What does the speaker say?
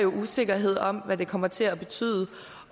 usikkerhed om hvad det kommer til at betyde